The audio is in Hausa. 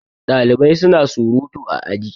Ɗalibai suna surutu a aji